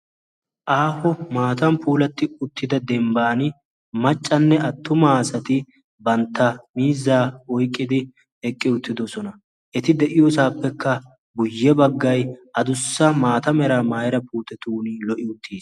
Aaho maatan puulatti uttida dembban maccanne attuma asati bantta miizzaa oiqqidi eqqi uttidosona. eti de'iyoosaappekka buyye baggai adussa maata meraa maaira puutetun lo"i uttiis